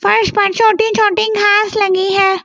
फर्श पर छोटी छोटी घास लगी है।